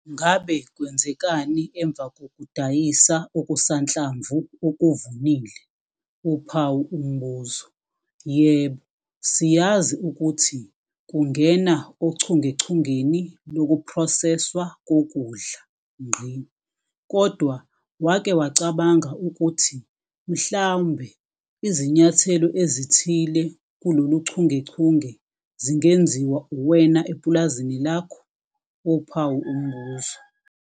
NGABE KWENZEKANI EMVA KOKUDAYISA OKUSANHLAMVU OKUVUNILE? YEBO, SIYAZI UKUTHI KUNGENA OCHUNGECHUNGENI LOKUPHROSESWA KOKUDLA. KODWA WAKE WACABANGA UKUTHI MHLAMBE IZINYATHELEO EZITHILE KULOLUCHUNGECHUNGE ZINGENZIWA UWENA EPULAZINI LAKHO?